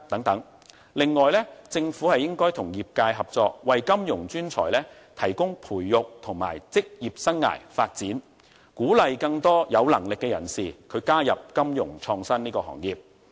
此外，政府應該與業界合作，為金融專才提供培育和職業生涯發展，鼓勵更多有能力的人士加入金融創新行業。